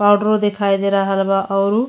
पाउडरो देखाई दे रहल बा औरु --